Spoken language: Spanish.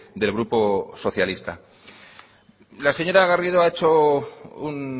del grupo socialista la señora garrido ha hecho un